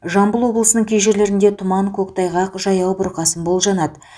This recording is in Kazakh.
жамбыл облысының кей жерлерінде тұман көктайғақ жаяу бұрқасын болжанады